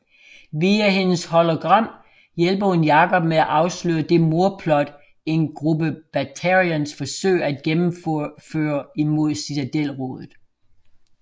Via hendes hologram hjælper hun Jacob med at afsløre det mordplot en gruppe Batarians forsøger at gennemføre imod Citadel rådet